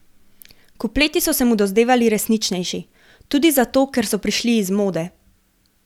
Kupleti so se mu dozdevali resničnejši, tudi zato, ker so prišli iz mode.